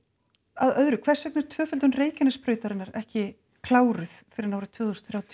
að öðru hvers vegna er tvöföldun Reykjanesbrautarinnar ekki kláruð fyrr en árið tvö þúsund þrjátíu